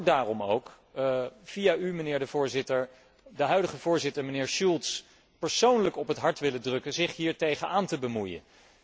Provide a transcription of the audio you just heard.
Ik zou daarom ook via u, mijnheer de Voorzitter, de huidige Voorzitter, mijnheer Schulz, persoonlijk op het hart willen drukken zich hiermee te bemoeien.